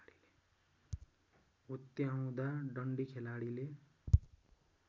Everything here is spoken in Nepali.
हुत्याउँदा डन्डी खेलाडीले